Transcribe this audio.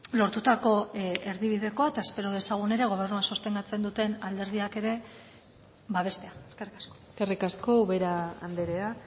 lortutako erdibidekoa eta espero dezagun ere gobernua sostengatzen duten alderdiak ere babestea eskerrik asko eskerrik asko ubera andrea